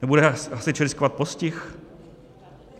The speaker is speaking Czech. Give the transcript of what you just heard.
Nebude hasič riskovat postih?